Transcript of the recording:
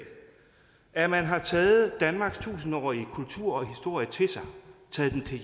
at man har taget danmarks tusindårige kultur og historie til sig taget den til